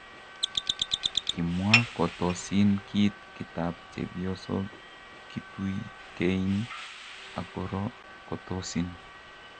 Kimua kotosin kit kitap chepyosok kituikein ak koro kotosin.